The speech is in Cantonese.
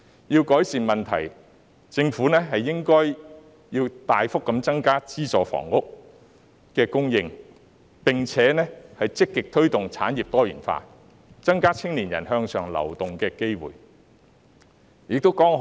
若要改善問題，政府應該大幅增加資助房屋的供應，並且積極推動產業多元化，增加青年人向上流動的機會。